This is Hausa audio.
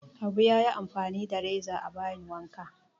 Abu ya yi amfani da reza a bayin wanka